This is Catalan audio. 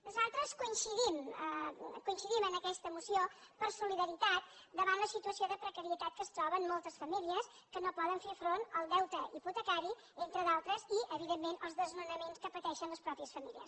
nosaltres coincidim en aquesta moció per solidaritat davant la situació de precarietat que es troben moltes famílies que no poden fer front al deute hipotecari entre d’altres i evidentment els desnonaments que pateixen les mateixes famílies